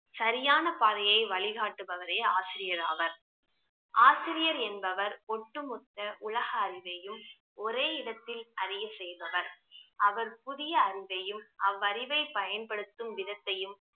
சரியான பாதையை வழிகாட்டுபவரே ஆசிரியர் ஆவார் ஆசிரியர் என்பவர் ஒட்டுமொத்த உலக அறிவையும் ஒரே இடத்தில் அறிய செய்பவர். அவர் புதிய அறிவையும் அவ்வறிவை பயன்படுத்தும் விதத்தையும்